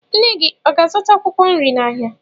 Nne gị ọ ga-azụta akwụkwọ nri n'ahịa?